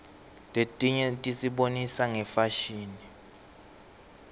letinye tisibonisa ngefashini